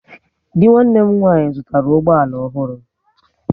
Dị nwanne m nwaanyị zụtara ụgbọ ala ọhụrụ